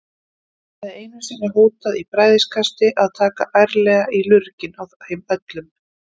Hann hafði einu sinni hótað í bræðikasti að taka ærlega í lurginn á þeim öllum.